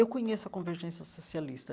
Eu conheço a Convergência Socialista.